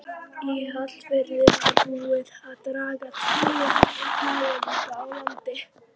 Í Hvalfirði var búið að draga tvö ferlíki á land.